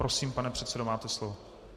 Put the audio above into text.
Prosím, pane předsedo, máte slovo.